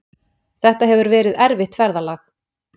Þetta hefur verið erfitt ferðalag